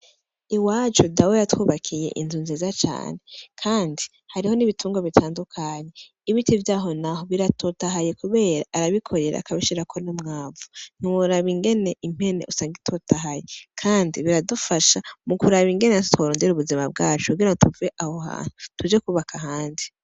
Iwacu dawe yatwubakiye inzu nziza cane, kandi hariho n'ibitungwa bitandukanye. Ibiti vyaho naho biratotahaye kubera arabikorera akabishirako n'umwavu, ntiworaba ingene impene usang'itotahaye , kandi biradufasha mukuraba ingene tworonder'ubuzima bwacu kugira tuve aho hantu, tuje kwubaka ahandi.